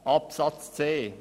Zu Buchstabe c: